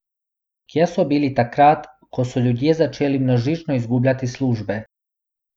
Kje so bili takrat, ko so ljudje začeli množično izgubljati službe?